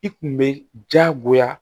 I kun be jagoya